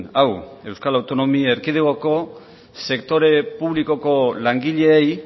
hau euskal autonomi erkidegoko sektore publikoko langileei